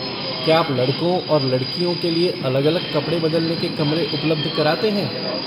क्या आप लड़कों और लड़कियों के लिए अलग अलग कपड़े बदलने के कमरे उपलब्ध कराते हैं?